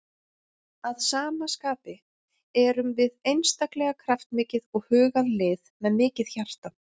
Að sama skapi erum við einstaklega kraftmikið og hugað lið með mikið hjarta.